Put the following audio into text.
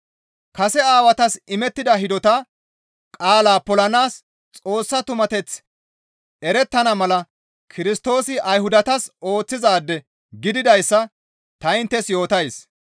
Kase aawatas imettida hidota qaalaa polanaas Xoossa tumateththi erettana mala Kirstoosi Ayhudatas ooththizaade gididayssa ta inttes yootays.